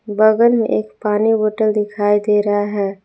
बगल में एक पानी बोतल दिखाई दे रहा है।